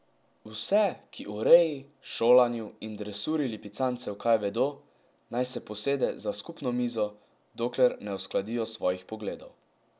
Vse, ki o reji, šolanju in dresuri lipicancev kaj vedo, naj se posede za skupno mizo, dokler ne uskladijo svojih pogledov.